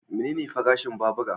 Menene farashin babura?